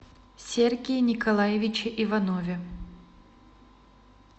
сергее николаевиче иванове